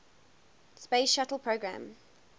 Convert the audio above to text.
space shuttle program